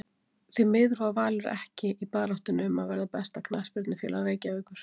Því miður var Valur ekki í baráttunni um að verða besta knattspyrnufélag Reykjavíkur